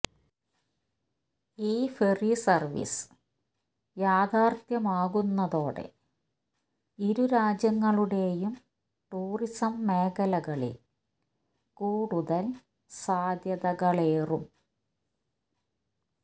ഈ ferry service യാഥാർത്ഥ്യമാകുന്നതോടെ ഇരുരാജ്യങ്ങളുടെയും ടൂറിസം മേഖലകളിൽ കൂടുതൽ സാദ്ധ്യതകളേറും